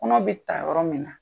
Kɔnɔ bɛ ta yɔrɔ min